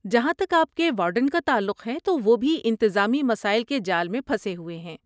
جہاں تک آپ کے وارڈن کا تعلق ہے تو وہ بھی انتظامی مسائل کے جال میں پھنسے ہوئے ہیں۔